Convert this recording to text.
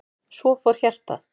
Svo fór hjartað.